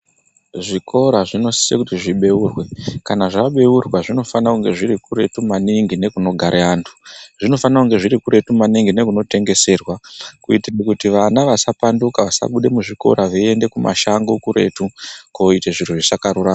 Zvikora zvinosise kuti zvibeurwe kana zvabeurwa zvinofana kunge zviri kuretu maningi nekunogare antu, zvinifana kunge zviri kuretu maningi nekuno tengeserwa kuitira kuti vana vasapanduka, vasabuda muzvikora veiende kumashango kuretu koite zviro zvisakarurama.